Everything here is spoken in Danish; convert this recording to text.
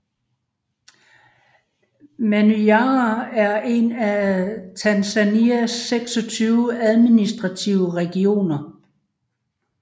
Manyara er en af Tanzanias 26 administrative regioner